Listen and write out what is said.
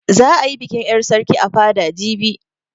Za a yi bikin 'yar sarki a fada jibi.